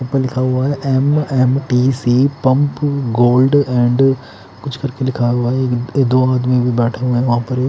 ऊपर लिखा हुआ है M _ M _ T _ C pump gold and कुछ कुछ लिखा हुआ है दो आदमी बैठे हुए है वहां पर--